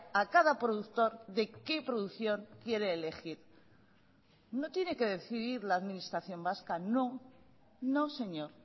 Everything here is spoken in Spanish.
a cada productor de qué producción quiere elegir no tiene que decidir la administración vasca no no señor